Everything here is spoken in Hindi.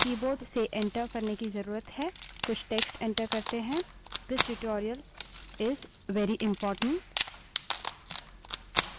कुछ text enter करें this tutorial is very important यह tutorial बहुत महत्वपूर्ण है